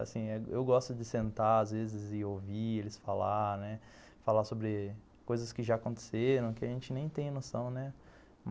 Assim, eu gosto de sentar, às vezes, e ouvir eles falar, né, falar sobre coisas que já aconteceram, que a gente nem tem noção, né?